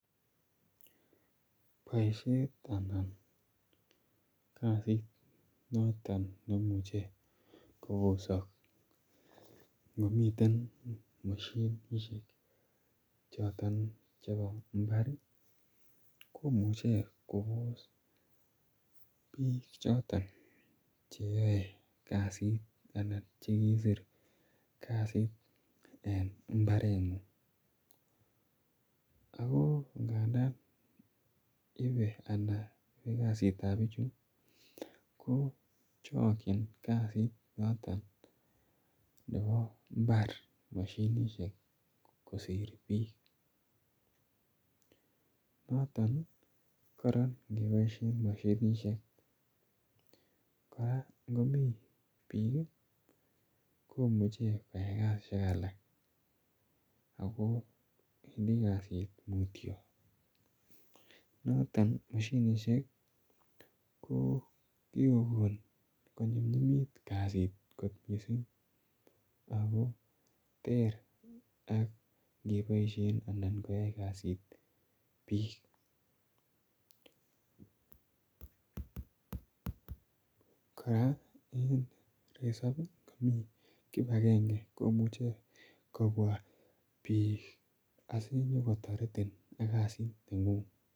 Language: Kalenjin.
Boisiet anan kasit noton neimuche kobosok ngomiten moshinishiek choton chebo mbar ii komuche kobos biik choton cheyoe kasit anan chekiisir kasit en mbareng'ung, ako ngandan ibe ana yoe kasit ab bichu ko chokyin kasit noton nebo mbar moshinishek kosir biik, noton kora ingeboisien moshinishiek kora ingomi biik ii komuche koyoe kasisiek alak ako wendi kasit mutyo, noton moshinishiek ko kikogon konyumyumit kasit missing ako ter ak ingeboisien anan koyai kasit biik, kora en resop komi kibagenge komuche kobwa biik asinyokotoretin ak kasit neng'ung.